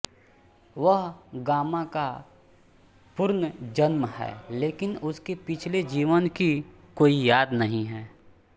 वह गामा का पुर्नजन्म है लेकिन उसके पिछले जीवन की कोई याद नहीं है